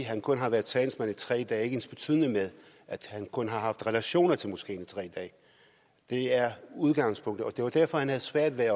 at han kun har været talsmand i tre dage ensbetydende med at han kun har haft relationer til moskeen i tre dage det er udgangspunktet og det var derfor han havde svært ved